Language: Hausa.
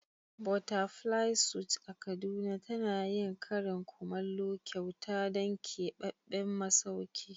Butterfly suit a kaduna tana yin karin kumallo kyauta don keɓaɓɓen masauki.